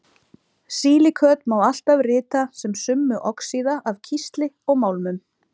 Silíköt má alltaf rita sem summu oxíða af kísli og málmum.